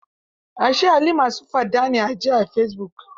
Ashe Ali ma su fada a ji ne a fesibuk?